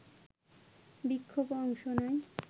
বিক্ষোভে অংশ নেয়